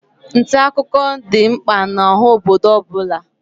Nta akụkọ dị mkpa n'oha obodo ọbụna.